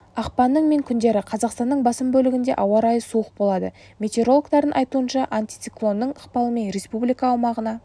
ақпанның мен күндері қазақстанның басым бөлігінде ауа райы суық болады метеорологтардың айтуынша антициклонның ықпалымен республика аумағына